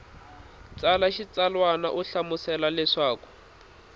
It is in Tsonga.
tsala xitsalwana u hlamusela leswaku